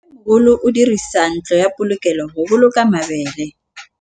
Mmêmogolô o dirisa ntlo ya polokêlô, go boloka mabele.